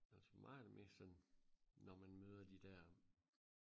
for mig er det mest sådan når man møder de der